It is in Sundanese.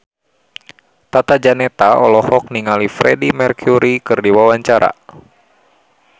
Tata Janeta olohok ningali Freedie Mercury keur diwawancara